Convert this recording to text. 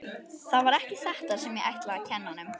Það var ekki þetta sem ég ætlaði að kenna honum.